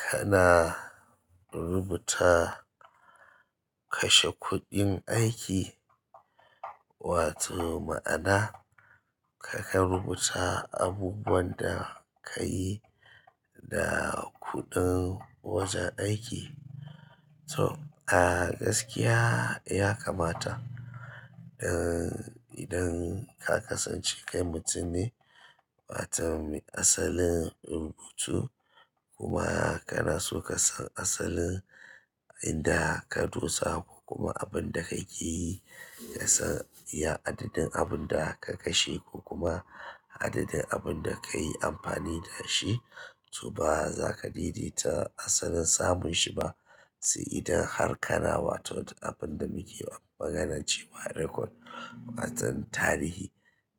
Kana rubuta kashe kuɗin aiki wato ma'ana ka kan rubuta abubuwan da ka yi da kuɗin wajen aiki? To a gaskiya ya kamata idan ka kasance kai mutum ne, wato mai asalin rubutu kuma kana so ka san asalin inda ka dosa ko kuma abun da kakeyi kasan iya adadin abun da ka kashe ko kuma adadin abin da ka yi amfani da shi to ba za ka daidaita asalin samun shi ba. Sai idan har kana wato da abin da muke maganar cewa record, watan tarihi.